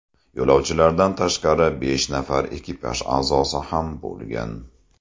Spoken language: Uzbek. Yo‘lovchilardan tashqari besh nafar ekipaj a’zosi ham bo‘lgan.